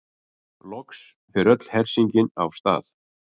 Loks fer öll hersingin af stað.